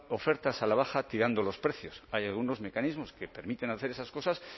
ofertas a la baja tirando los precios hay algunos mecanismos que permiten hacer esas cosas